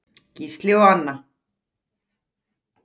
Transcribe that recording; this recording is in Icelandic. Gísli og Anna.